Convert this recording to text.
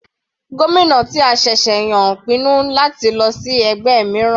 Gómìnà ti a ṣẹ̀ṣẹ̀ yàn ń pinnu láti lọ sí inú ẹgbẹ́ mìíràn.